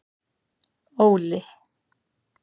Óli